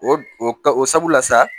O o sabu la sa